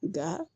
Nka